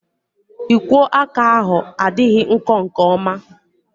Ikwo aka ahu adịghị nkọ nke oma